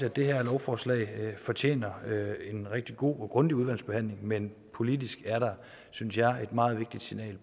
at det her lovforslag fortjener en rigtig god og grundig udvalgsbehandling men politisk er der synes jeg et meget vigtigt signal